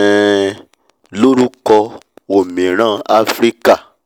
um lórúkọ "òmìrán afíríkà"!!